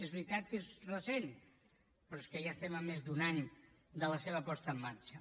és veritat que és recent però és que ja estem a més d’un any de la seva posada en marxa